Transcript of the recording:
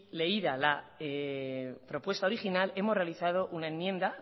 leída la propuesta original hemos realizado una enmienda